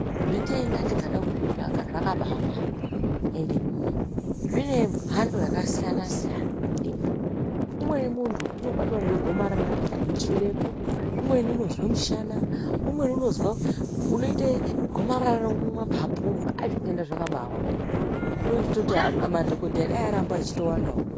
Zvitenda tikada kuzvitsvaga, zvakabaawanda, ende zvinemhando yakasiyana-siyana. Umweni muntu unobatwa ngegomarara remuchibereko, umweni unozwe mushana, umweni unozwa unoite gomarara remumaphapu umu, zvitenda zvakabaawanda, unenge uchitoti dai madhogodheya aramba achitowandawo.